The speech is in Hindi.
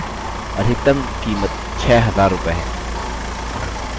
अधिकतम कीमत 6000 रूपये है